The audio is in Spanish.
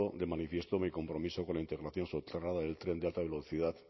de manifiesto mi compromiso con la internación soterrada del tren de alta velocidad